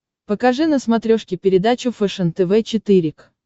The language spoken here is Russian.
покажи на смотрешке передачу фэшен тв четыре к